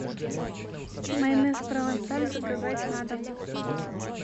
майонез провансаль заказать на дом